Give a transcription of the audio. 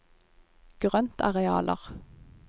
grøntarealer